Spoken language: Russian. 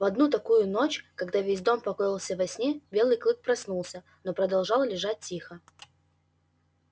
в одну такую ночь когда весь дом покоился во сне белый клык проснулся но продолжал лежать тихо